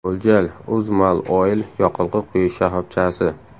Mo‘ljal: UzMalOil yoqilg‘i quyish shoxobchasi.